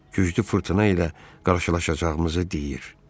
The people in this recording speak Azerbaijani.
Güclü fırtına ilə qarşılaşacağımızı deyir.